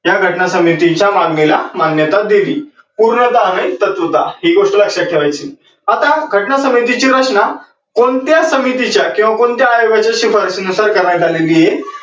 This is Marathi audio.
या घटना समितीच्या मागणीला मान्यता दिली. पूर्णतः आणि तत्वतः ही गोष्ट लक्षात ठेवायची. आता घटना समितीची रचना कोणत्या समितीच्या किव्वा कोणत्या आयोगाच्या शिफारसीनुसार करायची आहे.